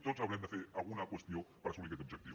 tots haurem de fer alguna qüestió per assolir aquest objectiu